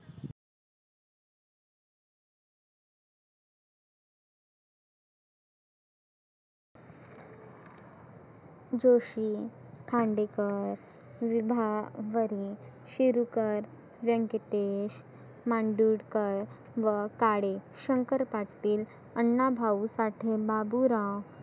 जोशी, खांडेकर, विभा बने, शिरुकर, व्यंकटेश, मांडुरकर, व काळे, शंकर पाटील, अन्नाभाऊ साठे, बाबुराव